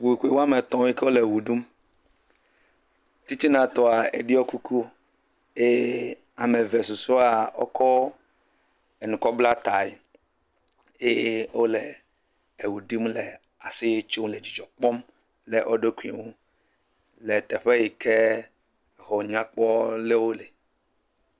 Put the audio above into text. Tukpekpe wo ame etɔ̃ yi ke wole wo ɖum. Titinatɔa eɖiɔ kuku eye ame eve susɔea wokɔ enu kɔ bla tae eye wole ewo ɖum le aseye tsom le dzɔdzɔ kpɔm le wo ɖokui ŋu le teƒe yi ke exɔ nyakpɔ lewo le.